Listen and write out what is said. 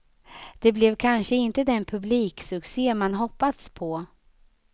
Det blev kanske inte den publiksuccé man hoppats på.